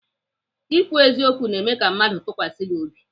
Ikwu eziokwu na-eme ka mmadụ tụkwasị gị obi.